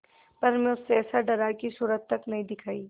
पर मैं उससे ऐसा डरा कि सूरत तक न दिखायी